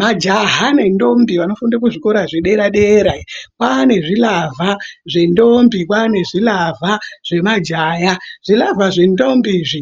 Majaha nendombi vanofunda kuzvikora zvedera-dera kwaane zvilavha zvendombi, kwane zvilavha zvemajaya. Zvilavha zvendombi izvi